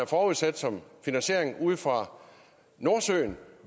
forudsat som finansiering ude fra nordsøen